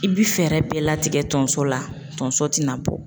I bi fɛɛrɛ bɛɛ latigɛ tonso la tonso tina bɔ.